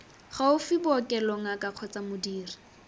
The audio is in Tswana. gaufi bookelo ngaka kgotsa modiri